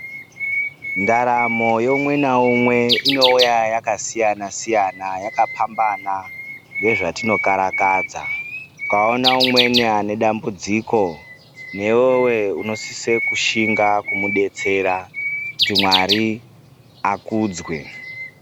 Ndaramo yeumwe neumwe inouya yakasiyana-siyana yakapambana ngezvatinokarakadza. Ukaona umweni ane dambudziko newewo unosise kushinga kumubetsera kuti Mwari akudzwe.